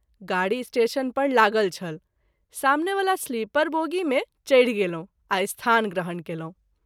गाड़ी स्टेशन पर लागल छल सामने वला स्लीपर बोगी मे चढि गेलहुँ आ स्थान ग्रहण कयलहुँ।